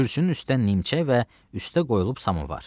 Kürsünün üstdə nimçə və üstdə qoyulub samovar.